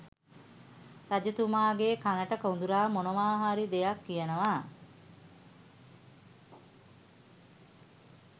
රජතුමාගේ කණට කොඳුරා මොනවා හරි දෙයක් කියනවා